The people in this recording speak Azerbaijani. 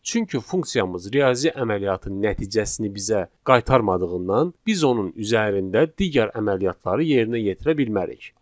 Çünki funksiyamız riyazi əməliyyatın nəticəsini bizə qaytarmadığından biz onun üzərində digər əməliyyatları yerinə yetirə bilmərik.